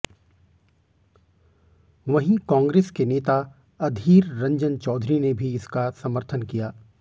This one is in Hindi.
वहीं कांग्रेस के नेता अधीर रंजन चौधरी ने भी इसका समर्थन किया